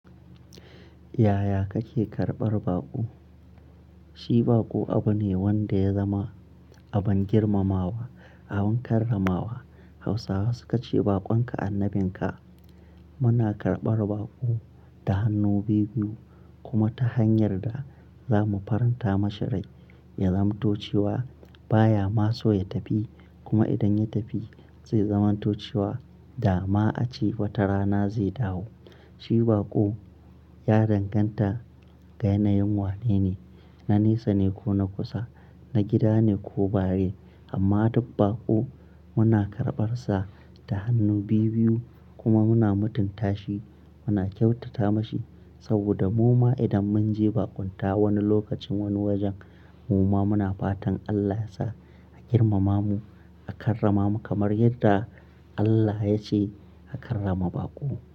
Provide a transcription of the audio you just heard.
Yaya kake karɓar baƙo? Shi baƙo abu ne wanda ya zama abin girmamawa, abin karramawa. Hausawa suka ce, "Baƙonka annabinka." Muna karɓar baƙo da hannu biyu-biyu kuma ta hanyar da za mu faranta masa rai, ya zamanto cewa ba ya ma so ya tafi. Kuma idan ya tafi zai zamanto cewa da ma a ce wata rana zai dawo. Shi baƙo ya danganta ga yanayin wato, na nesa ne ko na kusa, na gida ne ko bare. Amma duk baƙo muna karɓarsa da hannu biyu-biyu kuma muna mutunta shi, muna kyautata mashi saboda mu ma idan mun je baƙunta wani lokacin, wani wajen, mu ma muna fatan Allah yasa a girmama mu, a karrama mu kamar yadda Allah ya ce a karrama baƙo.